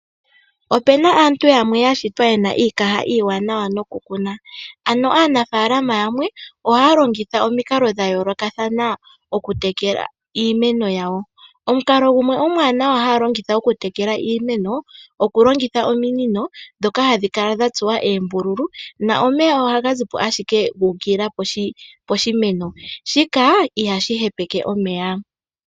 Ope na aantu yamwe ya shitwa ye na iikaha iiwanawa nokukuna, ano aanafaalama yamwe ohaa longitha omikalo dha yoolokathana okutekela iimeno yawo. Omukalo gumwe omwaanawa haa longitha okutekela iimeno, oku longitha ominino dhoka hadhi kala dha tsuwa eembululu, na omeya ohaga zipo ashike guukilila poshimeno. Shika ihashi hepeke omeya.